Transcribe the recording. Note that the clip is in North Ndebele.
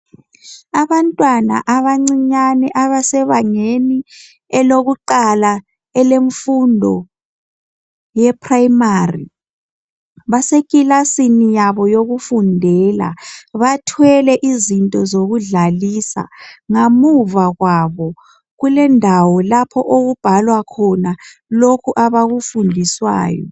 Abantwana abancinyane abasebangela elokuqala elemfundo ye primary basekilasini yabo yokufundela bathwele izinto zokudlalisa ngamuva kwabo kulendawo lapho okubhalwe khona lokhu abakufundiswayo